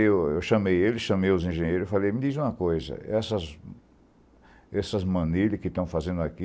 Eu chamei ele, chamei os engenheiros e falei, me diz uma coisa, essas manilhas que estão fazendo aqui,'